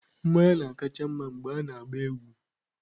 mmanya na-akacha mma mgbe a na-agba egwu.